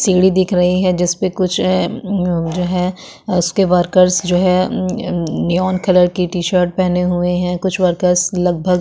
सीढ़ी दिख रही है जिसपे कुछ उम् जो है उसके वर्कर्स जो है उम् मम वो निवॉन कलर के टीशर्ट पहने हुवे है कुछ वर्कर्स लगबघ --